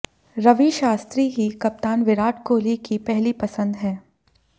रवि शास्त्री ही कप्तान विराट कोहली की पहली पसंद ही